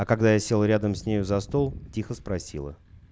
а когда я сел рядом с нею за стол тихо спросила